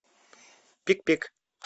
пик пик